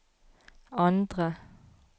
andre